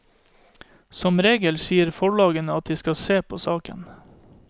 Som regel sier forlagene at de skal se på saken.